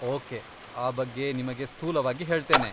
Okay, ಆ ಬಗ್ಗೆ ನಿಮಗೆ ಸ್ಥೂಲವಾಗಿ ಹೇಳ್ತೇನೆ.